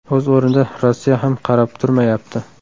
O‘z o‘rnida, Rossiya ham qarab turmayapti.